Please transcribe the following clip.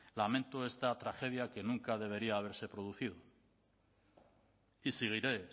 lamento esta tragedia que nunca debería haberse producido y seguiré